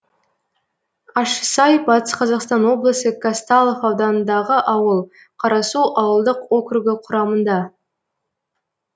ащысай батыс қазақстан облысы казталов ауданындағы ауыл қарасу ауылдық округі құрамында